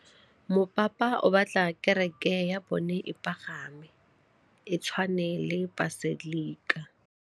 Mopapa o batla kereke ya bone e pagame, e tshwane le paselika.